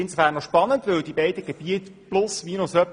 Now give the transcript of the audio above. Der Wert des Bodens ist in etwa derselbe.